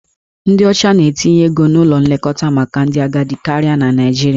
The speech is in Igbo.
Ndị ọcha na-etinye ego n'ụlọ nlekọta maka ndị agadi karịa na Naịjirịa.